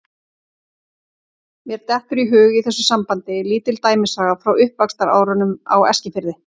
Mér dettur í hug í þessu sambandi lítil dæmisaga frá uppvaxtarárunum á Eskifirði.